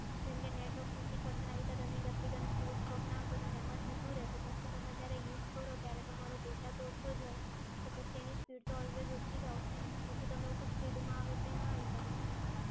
જેમ કે net off નથી કરતાં અને આવી રીતે running application force stop ના કરો એમાં જતું રે પછી એમાં તમે જ્યારે use કરો ત્યારે તમારો data તો ઓછો જ હોય. પછી એની speed always ઓછી જ આવે ને. પછી તમે કો speed ના આવે તો એ પછી ના આવે ને MA'M!